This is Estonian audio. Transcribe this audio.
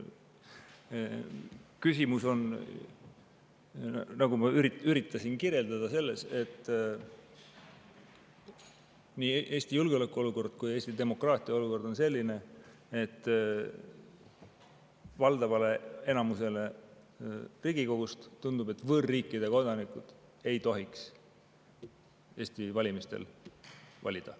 Küsimus on, nagu ma üritasin kirjeldada, selles, et nii Eesti julgeolekuolukord kui ka Eesti demokraatiaolukord on selline, et valdavale enamusele Riigikogust tundub, et võõrriikide kodanikud ei tohiks Eesti valimistel valida.